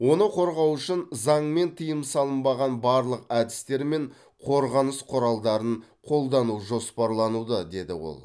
оны қорғау үшін заңмен тыйым салынбаған барлық әдістер мен қорғаныс құралдарын қолдану жоспарлануда деді ол